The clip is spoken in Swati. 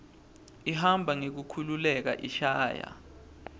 ihamba ngekukhululeka ishaya